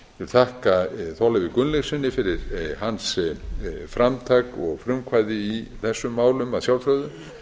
þakka þorleifi gunnlaugssyni fyrir hans framtak og frumkvæði í þessum málum að sjálfsögðu